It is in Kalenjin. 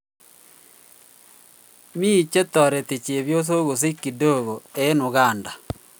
Me chetareti chebyosok kosich kidogo eng Uganda.